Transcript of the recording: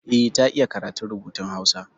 Eh, ta iya karatun rubutun Hausa.